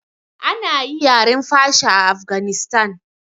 Ana yi yaren fasha a afganistan